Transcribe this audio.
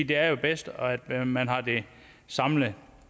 det er bedst at man har det samlet